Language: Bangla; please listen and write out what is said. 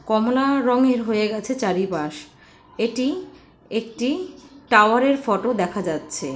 কমলা রঙের হয়ে গেছে চারিপাশ এটি একটি টাওয়ার এর ফটো দেখা যাচ্ছে।